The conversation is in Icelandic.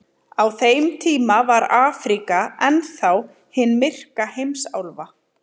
Á þeim tíma var Afríka enn þá hin myrka heimsálfa.